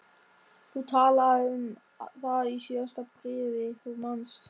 Þú talaðir um það í síðasta bréfi, þú manst.